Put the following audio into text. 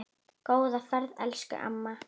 Góða ferð, elsku amma.